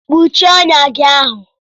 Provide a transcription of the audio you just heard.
Kpuchie ọnyá gị ahụ!